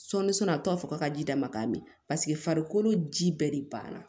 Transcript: Sɔɔni soni a bɛ to a fɔ k'a ka ji d' ma k'a mɛn paseke farikolo ji bɛɛ de banna